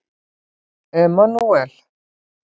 Emanúel